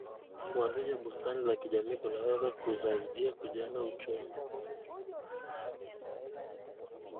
Kuanzisha bustani za jamii kunaweza kusaidia kujenga uchumi.